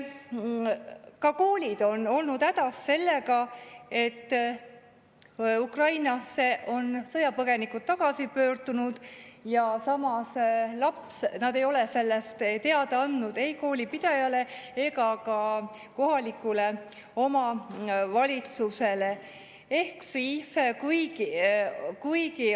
Ka koolid on olnud hädas sellega, et Ukrainasse on sõjapõgenikud tagasi pöördunud, aga nad ei ole sellest teada andnud ei koolipidajale ega ka kohalikule omavalitsusele.